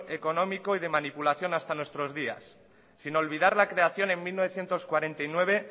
económico y de manipulación hasta nuestros días sin olvidar la creación en mil novecientos cuarenta y nueve